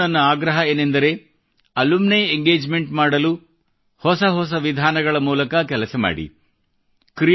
ಸಂಸ್ಥೆಗಳಿಗೂ ನನ್ನ ಆಗ್ರಹ ಏನೆಂದರೆ ಅಲುಮಿನಿ ಎಂಗೇಜ್ಮೆಂಟ್ ಮಾಡಲು ಹೊಸ ಹೊಸ ವಿಧಾನಗಳ ಮೂಲಕ ಕೆಲಸ ಮಾಡಿರಿ